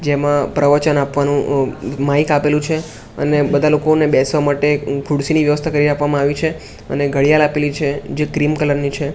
જેમાં પ્રવચન આપવાનું માઈક આપેલું છે અને બધા લોકોને બેસવા માટે ખુરસીની વ્યવસ્થા કરી આપવામાં આવી છે અને ઘડિયાળ આપેલી છે જે ક્રીમ કલર ની છે.